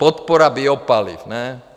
Podpora biopaliv, ne?